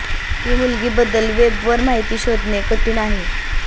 ही मुलगी बद्दल वेब वर माहिती शोधणे कठीण आहे